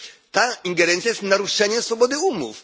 Ta ingerencja jest naruszeniem swobody umów.